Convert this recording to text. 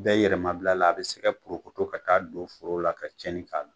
Bɛye yɛmabila la a bi se ka porokoto ka taaa don foro la ka cɛna